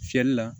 Fiyɛli la